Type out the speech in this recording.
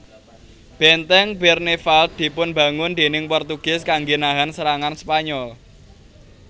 Benteng Bernevald dipun bangun déning Portugis kangge nahan serangan Spanyol